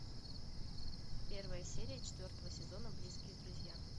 первая серия четвертого сезона близкие друзья